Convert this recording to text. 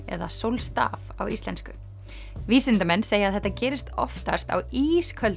eða sólstaf á íslensku vísindamenn segja að þetta gerist oftast á ísköldum